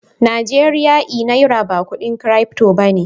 Najeriya e Naira ba kudin crypto ba ne.